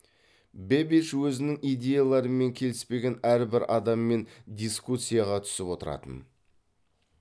бэббидж өзінің идеяларымен келіспеген әрбір адаммен дискуссияға түсіп отыратын